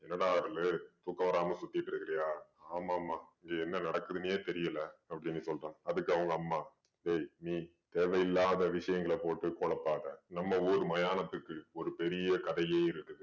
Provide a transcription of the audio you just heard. என்னடா அருளு தூக்கம் வராம சுத்தீட்டிருக்கிறியா. ஆமாம் அம்மா. இங்க என்ன நடக்குதுன்னே தெரியல அப்படீன்னு சொல்றான். அதுக்கு அவங்க அம்மா டேய் நீ தேவையில்லாத விஷயங்கள போட்டு குழப்பாதே. நம்ம ஊரு மயானத்துக்கு ஒரு பெரிய கதையே இருக்குது.